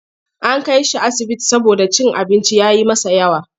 An kai shi asibiti saboda cin abinci ya yi masa yawa.